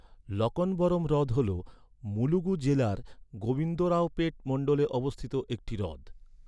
লকনবরম হ্রদ হল, মুলুগু জেলার গোবিন্দরাওপেট মন্ডলে অবস্থিত একটি হ্রদ।